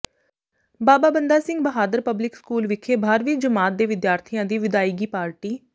ਬਾਬਾ Banda Singh Bahadur public school ਵਿਖੇ ਬਾਰ੍ਹਵੀਂ ਜਮਾਤ ਦੇ ਵਿਦਿਆਰਥੀਆਂ ਦੀ ਵਿਦਾਇਗੀ ਪਾਰਟੀ